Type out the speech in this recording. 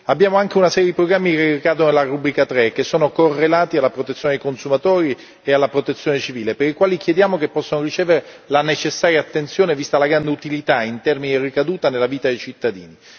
Abbiamo anche una serie di programmi dedicati alla rubrica 3, che sono correlati alla protezione dei consumatori e alla protezione civile, per i quali chiediamo che possano ricevere la necessaria attenzione, vista la gran utilità in termini di ricaduta nella vita dei cittadini.